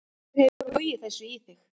Hver hefur logið þessu í þig?